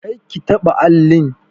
Kar ki taɓa allin!